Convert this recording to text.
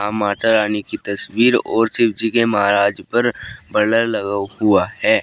माता रानी की तस्वीर और शिव जी के महाराज पर ब्लर लगा हुआ है।